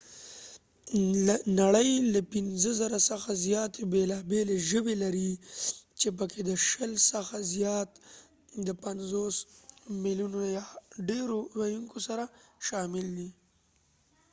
نړۍ له ۵،۰۰۰ څخه زیاتې بیلا بیلي ژبې لري، چې پکې د شل څخه زیات د ۵۰ ملیونه یا ډیرو ویوونکو سره شامل دي